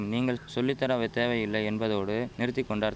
நீங்கள் சொல்லிதரவை தேவையில்லை என்பதோடு நிறுத்திகொண்டார்